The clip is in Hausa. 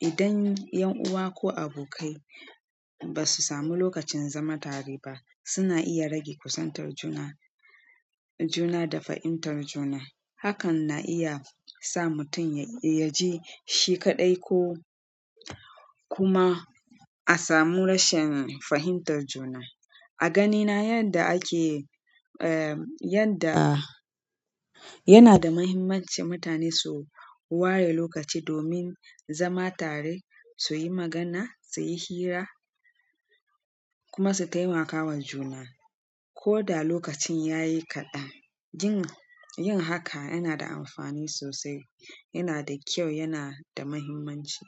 Idan 'yan uwa ko abokai ba su sami lokacin zama tare ba, suna iya rage kusantar juna, juna da fahimtar juna. Hakan na iya sa mutum ya je shi kaɗai ko kuma a samu rashin fahimtar juna. A ganina yadda ake, eh, yadda yana da muhimmanci mutane su ware lokaci domin zama tare su yi magana su yi hira kuma su taimakawa juna. Ko da lokacin yayi kaɗan, yin, yin haka yana da amfani sosai, yana da kyau, yana da muhimmanci.